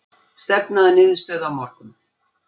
Stefna að niðurstöðu á morgun